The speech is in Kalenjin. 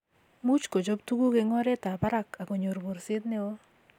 muuch kochop tuguk eng oretab barak ago nyoor borset neo